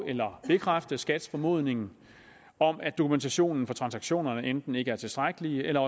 eller bekræfte skats formodning om at dokumentationen for transaktionerne enten ikke er tilstrækkelig eller